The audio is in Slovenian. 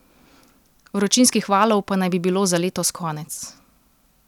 Vročinskih valov pa naj bi bilo za letos konec ...